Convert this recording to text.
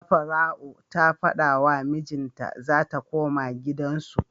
Safara'u ta fada wa mijin ta zata koma gidan su